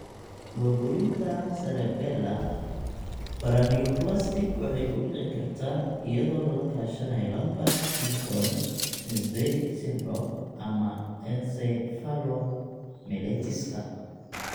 Burburinta cerebellar Paraneoplastic waxay ku dhici kartaa iyadoo lala kaashanayo Lambert Eaton myasthenic syndrome ama encephalomyelitiska.